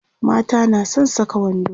mata na San Saka wando